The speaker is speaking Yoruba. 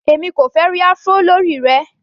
Èmi kò fẹ́ ẹ́ rí Afro lórí rẹ.